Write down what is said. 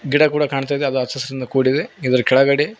ಗಿಡ ಕೂಡಾ ಕಾಣ್ತಾ ಇದೆ ಅದು ಹಚ್ಚ ಹಸಿರಿಂದ ಕೂಡಿದೆ ಇದರ ಕೆಳಗಡೆ--